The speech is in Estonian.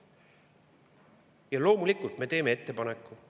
Ja loomulikult me teeme ettepaneku.